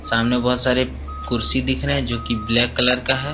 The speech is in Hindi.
सामने बहोत सारे कुर्सी दिख रहे हैं जो की ब्लैक कलर का है।